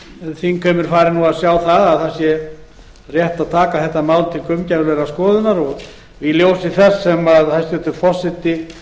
þingheimur fari nú að sjá að það sé rétt að taka þetta mál til gaumgæfilegrar skoðunar og í ljósi þess sem hæstvirtur fyrsti forseti